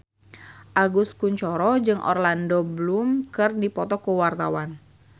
Agus Kuncoro jeung Orlando Bloom keur dipoto ku wartawan